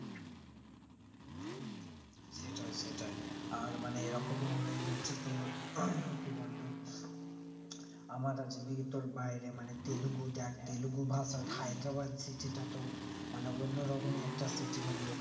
সেটাই সেটাই আর মানে এই রকমও হয়ে যাচ্ছে তো কি বলতো আমার যদি তোর বাইরে মানে Telugu দেখ Telugu ভাষার হায়দ্রাবাদ city টা তো মানে অন্য রকমই একটা city মানে ওখানে